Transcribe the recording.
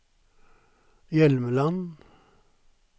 Hjelmeland